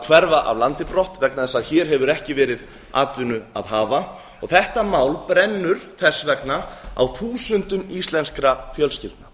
hverfa af landi brott vegna þess að hér hefur ekki verið atvinnu að hafa og þetta mál brennur þess vegna á þúsundum íslenskra fjölskyldna